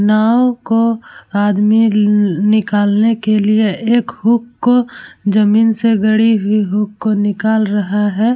नाव को आदमी नि-निकालने के लिए एक हुक को जमीन से गड़ी हुई हुक को निकाल रहा है ।